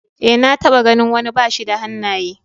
Ee, na taɓa ganin wani bashi da hannaye.